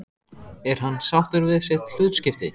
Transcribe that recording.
Er hann sáttur við sitt hlutskipti?